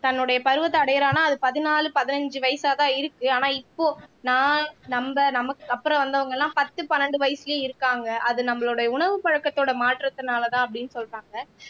தன்னுடைய பருவத்தை அடையிறான்னா அது பதினாலு பதினைந்து வயசாதான் இருக்கு ஆனா இப்போ நான் நம்ம நமக்கு அப்புறம் வந்தவங்க எல்லாம் பத்து பன்னெண்டு வயசு இருக்காங்க அது நம்மளுடைய உணவு பழக்கத்தோட மாற்றத்தினாலதான் அப்படின்னு சொல்றாங்க